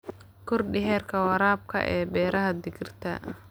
Kordhi heerka waraabka ee beeraha digirta.